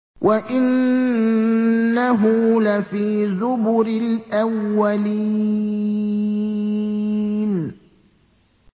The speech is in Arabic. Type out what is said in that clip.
وَإِنَّهُ لَفِي زُبُرِ الْأَوَّلِينَ